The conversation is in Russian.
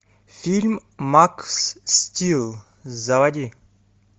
фильм макс стил заводи